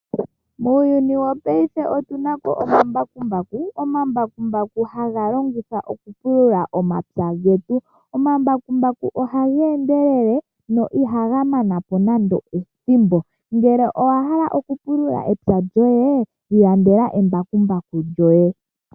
Muuyuni wopayife otu napo omambakumbaku, Omanbakumbaku ha ga longithwa oku pulula omatsa getu, Omambakumbaku oha ga endelele no iha gamanapo nando ethimbo. Ngele owa hala okupulula etsa lyoye ilandela embakumbaku lyoye.